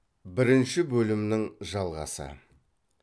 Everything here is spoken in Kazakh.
бірінші бөлімнің жалғасы